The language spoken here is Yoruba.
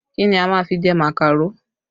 Kí ni a máa fi jẹ màkàró?